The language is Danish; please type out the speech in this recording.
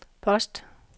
post